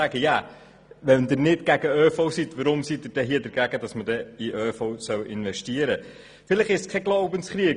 Wenn Sie nicht gegen den ÖV sind, weshalb sind Sie dann gegen Investitionen in den ÖV?